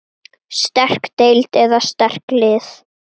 Sterk deild eða sterk lið?